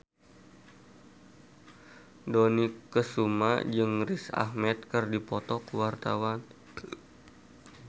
Dony Kesuma jeung Riz Ahmed keur dipoto ku wartawan